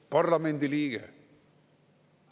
Parlamendiliige.